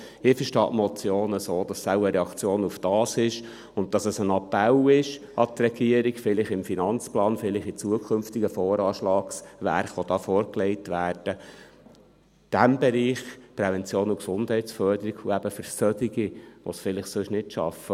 Ich verstehe die Motion so, dass sie wohl eine Reaktion darauf ist und dass es ein Appell an die Regierung ist, vielleicht im Finanzplan und in zukünftigen Voranschlagswerken, die vorgelegt werden, dem Bereich Prävention und Gesundheitsförderung, und eben für solche, die es sonst vielleicht nicht schaffen …